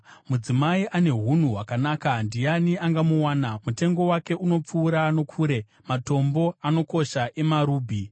Mudzimai ane unhu hwakanaka ndiani angamuwana? Mutengo wake unopfuura nokure matombo anokosha emarubhi.